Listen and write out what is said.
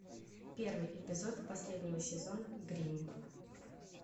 первый эпизод последнего сезона гримм